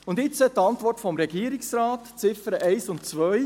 Und jetzt zur Antwort des Regierungsrates Ziffern 1 und 2.